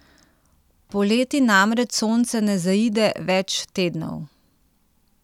Poleti namreč sonce ne zaide več tednov.